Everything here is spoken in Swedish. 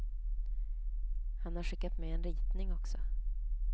Han har skickat med en ritning också.